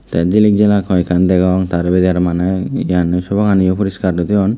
te jilik jalak hoekan degong tar bidiredi arow sopa ganiow poriskar guri toyon.